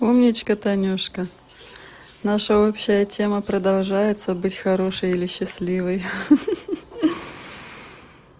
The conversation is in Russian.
умничка танюшка наша общая тема продолжается быть хорошей или счастливой ха-ха